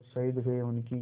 जो शहीद हुए हैं उनकी